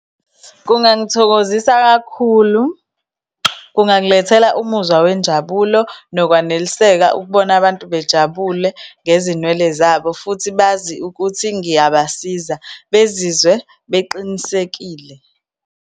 Kungangithokozisa kakhulu, kungangilethela umuzwa wenjabulo nokwaneliseka ukubona abantu bejabule ngezinwele zabo, futhi bazi ukuthi ngiyabasiza, bezizwe beqinisekile.